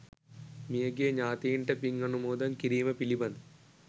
මිය ගිය ඥාතීන්ට පින් අනුමෝදන් කිරීම පිළිබඳ